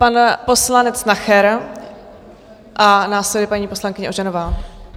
Pan poslanec Nacher a následuje paní poslankyně Ožanová.